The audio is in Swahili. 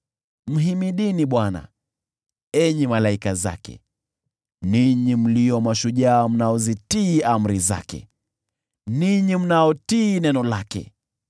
Mhimidini Bwana , enyi malaika zake, ninyi mlio mashujaa mnaozitii amri zake, ninyi mnaotii neno lake.